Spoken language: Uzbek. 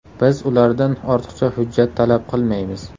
Biz ulardan ortiqcha hujjat talab qilmaymiz.